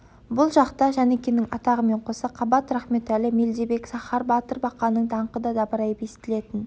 бұл жақта жәнікенің атағымен қоса қабат рахметәлі мелдебек сахар батыр бақаның даңқы да дабырайып естілетін